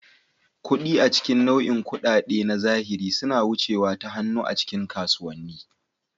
Kuɗi, a cikin nau'in kuɗaɗen na zahiri, suna wucewa ta hannu a cikin kasuwanni.